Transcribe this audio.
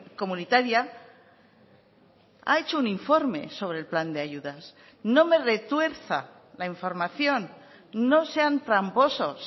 comunitaria ha hecho un informe sobre el plan de ayudas no me retuerza la información no sean tramposos